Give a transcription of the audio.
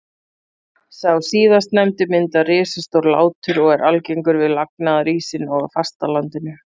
Sá síðastnefndi myndar risastór látur og er algengur við lagnaðarísinn og á fastalandinu.